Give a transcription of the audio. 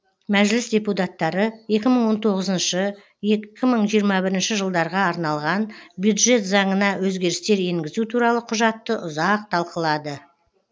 мәжіліс депутаттары екі мың он тоғызыншы екі мың жиырма бірінші жылдарға арналған бюджет заңына өзгерістер енгізу туралы құжатты ұзақ талқылады